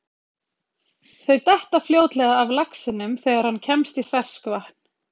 Þau detta fljótlega af laxinum þegar hann kemst í ferskvatn.